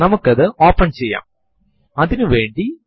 ഇവിടെ 02 എന്ന് കാണിക്കുന്നത് ഫെബ്രുവരി മാസത്തെയാണ്